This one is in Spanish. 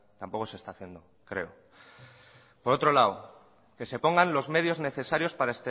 tampoco se está haciendo creo por otro lado que se pongan los medios necesarios para